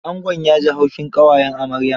Angon ya ji haushin ƙawayen amaryar.